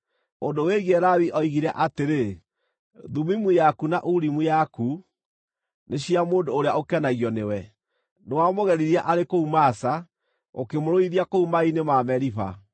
Ũndũ wĩgiĩ Lawi oigire atĩrĩ: “Thumimu yaku na Urimu yaku nĩ cia mũndũ ũrĩa ũkenagio nĩwe. Nĩwamũgeririe arĩ kũu Masa; ũkĩmũrũithia kũu maaĩ-inĩ ma Meriba.